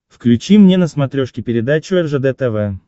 включи мне на смотрешке передачу ржд тв